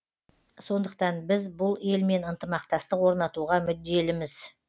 сондықтан біз бұл елмен ынтымақтастық орнатуға мүдделіміз